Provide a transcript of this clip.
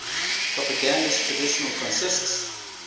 propagandist tradition consists